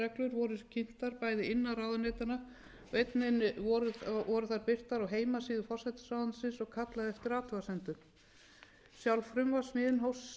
skiptar bæði innan ráðuneytanna og einnig voru þær birtar á heimasíðu forsætisráðuneytisins og kallað eftir athugasemdum sjálf frumvarpssmíðin hófst síðastliðið haust og var haft samráð við